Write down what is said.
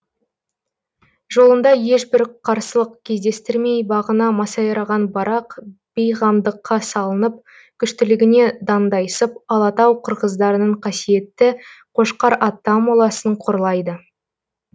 жолында ешбір қарсылық кездестірмей бағына масайраған барақ бейғамдыққа салынып күштілігіне дандайсып алатау қырғыздарының қасиетті қошқар ата моласын қорлайды